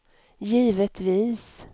givetvis